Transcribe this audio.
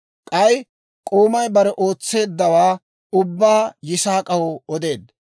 K'ay k'oomay bare ootseeddawaa ubbaa Yisaak'aw odeedda.